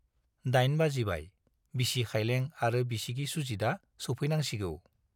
दाइन बाजिबाय, बिसि खाइलें आरो बिसिगि सुजितआ सौफैनांसिगौ।